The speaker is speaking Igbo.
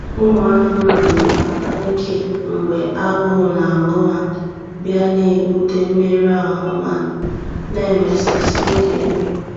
Ụmụ anụmanụ na-akpa ike mgbe agụụ na-agụ ha, bịa na-ebute mmerụ ahụ ma na emesasị oge nri.